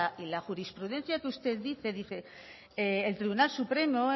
y la jurisprudencia que usted dice dice el tribunal supremo